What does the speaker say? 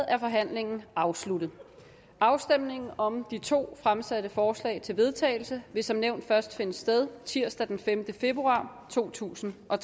er forhandlingen afsluttet afstemningen om de to fremsatte forslag til vedtagelse vil som nævnt først finde sted tirsdag den femte februar totusinde og